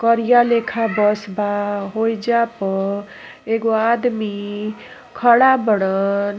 करिया लेखा बस बा होइजा पर एगो आदमी खड़ा बारन।